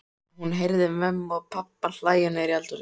Hún heyrði mömmu og pabba hlæja niðri í eldhúsi.